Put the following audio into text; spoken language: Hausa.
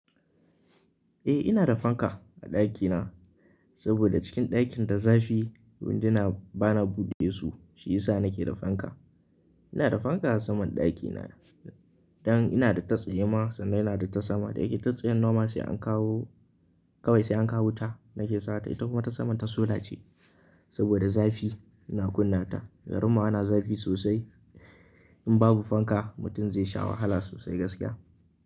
Eh ina da fanka a ɗakina, saboda cikin ɗakin da zafi. Wundina bana bude su shi yasa nake da fanka. Ina da fanka a saman ɗakina, don ina da ta tsaye ma sannan ina da ta saman ɗaki. Ta tsayin nema sai an kawo kawai sai an kawo wuta nake sa ta. Ita kuma ta saman ta sola ce saboda zafi ina kunna ta. Garinmu ana zafi sosai. In babu fanka mutum zai sha wahala sosai gaskiya.